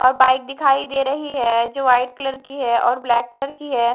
और बाइक दिखाई दे रही है जो वाइट कलर की है और ब्लैक कलर की है।